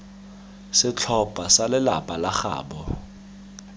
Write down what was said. setlhopha sa lelapa la gaabo